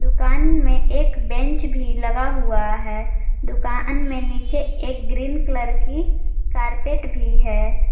दुकान में एक बेंच भी लगा हुआ है दुकान में नीचे एक ग्रीन कलर की कारपेट भी है।